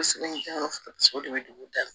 Kosɛbɛ o de bɛ dugu da la